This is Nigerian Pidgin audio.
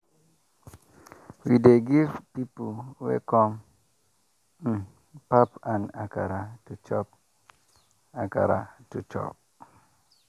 we dey give pipo wey come um pap and akara to chop. akara to chop.